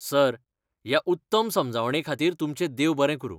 Sir, ह्या उत्तम समजवणेखातीर तुमचें देव बरें करूं.